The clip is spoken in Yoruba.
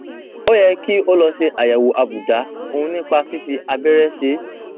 ó yẹ kí o lọ ṣe àyẹwò àbùdá ọhún nípa fífi abẹrẹ ṣe é